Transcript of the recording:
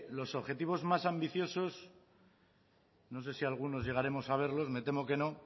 los objetivos más ambiciosos no sé si algunos llegaremos a verlos me temo que no